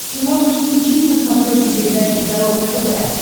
ты можешь включить на смотрешке передачу здоровое тв